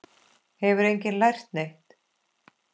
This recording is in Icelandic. Hefur enginn lært neitt?